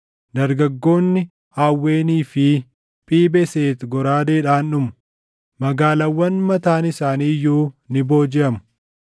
Dargaggoonni Aawwenii fi Phii-Beseti goraadeedhaan dhumu; magaalaawwan mataan isaanii iyyuu ni boojiʼamu.